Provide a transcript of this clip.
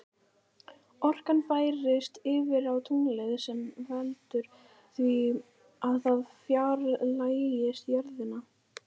Orkan færist yfir á tunglið sem veldur því að það fjarlægist jörðina.